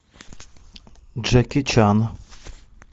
джеки чан